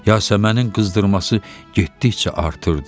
Yasəmənin qızdırması getdikcə artırdı.